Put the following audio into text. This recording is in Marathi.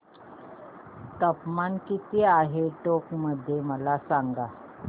तापमान किती आहे टोंक मध्ये मला सांगा